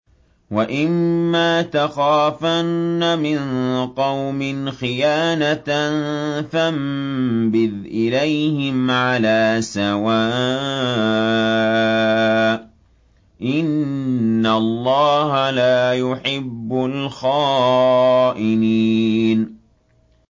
وَإِمَّا تَخَافَنَّ مِن قَوْمٍ خِيَانَةً فَانبِذْ إِلَيْهِمْ عَلَىٰ سَوَاءٍ ۚ إِنَّ اللَّهَ لَا يُحِبُّ الْخَائِنِينَ